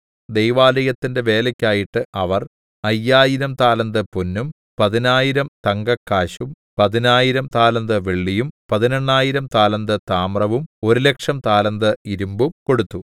ദൈവാലയത്തിന്റെ വേലയ്ക്കായിട്ട് അവർ 5000 താലന്ത് പൊന്നും 10000 തങ്കക്കാശും 10000 താലന്ത് വെള്ളിയും 18000 താലന്ത് താമ്രവും 100000 താലന്ത് ഇരുമ്പും കൊടുത്തു